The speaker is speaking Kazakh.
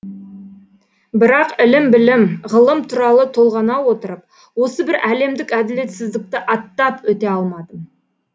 бірақ ілім білім ғылым туралы толғана отырып осы бір әлемдік әділетсіздікті аттап өте алмадым